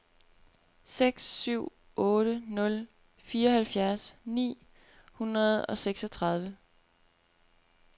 seks syv otte nul fireoghalvfjerds ni hundrede og seksogtredive